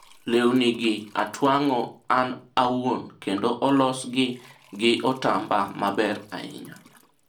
lewni gi atwang'o an wauon, kendo olos gi gi otamba maber ahinya